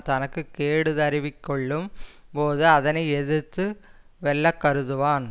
தனக்கு கேடு தருவிக்கொள்ளும் போது அதனை எதிர்த்து வெல்ல கருதுவான்